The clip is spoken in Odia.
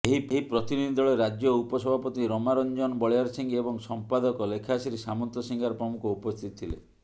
ଏହି ପ୍ରତିନିଧି ଦଳରେ ରାଜ୍ୟ ଉପସଭାପତି ରମାରଞ୍ଜନ ବଳିଆରସିଂହ ଓ ସମ୍ପାଦକ ଲେଖାଶ୍ରୀ ସାମନ୍ତସିଂହାର ପ୍ରମୁଖ ଉପସ୍ଥିତ ଥିଲେ